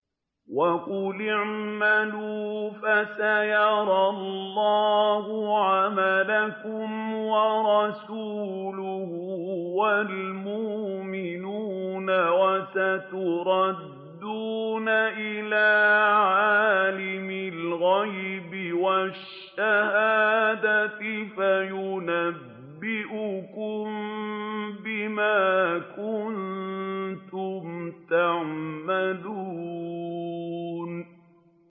وَقُلِ اعْمَلُوا فَسَيَرَى اللَّهُ عَمَلَكُمْ وَرَسُولُهُ وَالْمُؤْمِنُونَ ۖ وَسَتُرَدُّونَ إِلَىٰ عَالِمِ الْغَيْبِ وَالشَّهَادَةِ فَيُنَبِّئُكُم بِمَا كُنتُمْ تَعْمَلُونَ